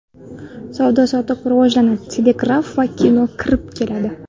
Savdo-sotiq rivojlanadi, telegraf va kino kirib keladi.